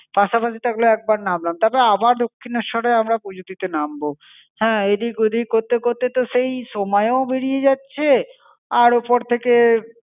পাশাপাশি থাকলে একবার নামলাম, তারপর আবার দক্ষিণেশ্বরে আমরা পুজো দিতে নামব। হ্যাঁ, এদিক ওদিক করতে করতে তো সেই সময়ও বেরিয়ে যাচ্ছে. আর ওপর থেকে,